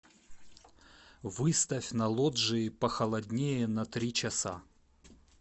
выставь на лоджии похолоднее на три часа